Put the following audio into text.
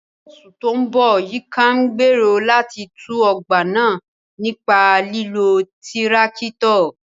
Ní oṣù tó ń bọ̀, Yinka gn bèrò láti tú ọgbà náà nípa lílo tirakito.